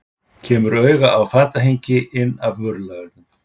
Kemur auga á fatahengi inn af vörulagernum.